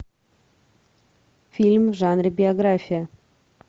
фильм в жанре биография